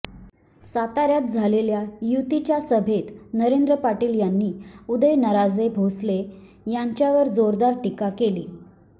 साताऱ्यात झालेल्या युतीच्या सभेत नरेंद्र पाटील यांनी उदयनराजे भोसले यांच्यावर जोरदार टीका केली